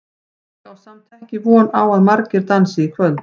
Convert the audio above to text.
Ég á samt ekki von á að margir dansi í kvöld.